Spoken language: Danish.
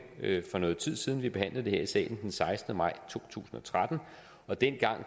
for nogen tid siden vi behandlede det her i salen den sekstende maj to tusind og tretten og dengang